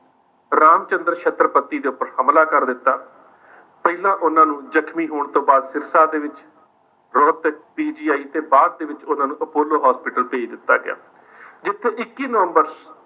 ਰਾਮਚੰਦ੍ਰ ਛੱਤਰਪਤੀ ਦੇ ਉੱਪਰ ਹਮਲਾ ਕਰ ਦਿੱਤਾ। ਪਹਿਲਾਂ ਉਨ੍ਹਾਂ ਨੂੰ ਜਖਮੀ ਹੋਣ ਤੋਂ ਬਾਅਦ ਸਿਰਸਾ ਦੇ ਵਿੱਚ ਰੋਹਤਕ PGI ਤੇ ਬਾਅਦ ਦੇ ਵਿੱਚ ਉਨ੍ਹਾਂ ਨੂੰ apollo hospital ਭੇਜ ਦਿੱਤਾ ਗਿਆ, ਜਿੱਥੇ ਇੱਕੀ ਨਵੰਬਰ